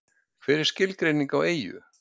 Hver er skilgreining á eyju?